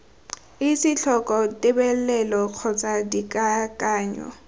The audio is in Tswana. etse tlhoko tebelelo kgotsa dikakanyo